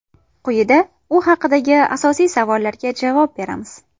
Quyida u haqdagi asosiy savollarga javob beramiz.